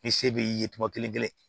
I se b'i ye tuma kelen-kelen